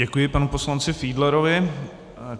Děkuji panu poslanci Fiedlerovi.